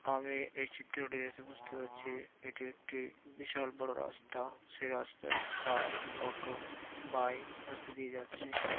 আমি এই চিত্রটি দেখে বুঝতে পারছি এটি একটি বিশাল বড় রাস্তা সেই রাস্তায় কার অটো বাইক রাস্তা দিয়ে যাচ্ছে। পা--